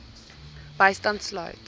bystand sluit